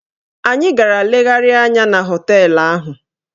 Anyị gara legharịa anya na họteelụ ahụ.